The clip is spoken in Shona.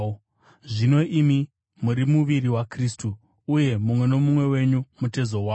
Zvino imi muri muviri waKristu, uye mumwe nomumwe wenyu mutezo wawo.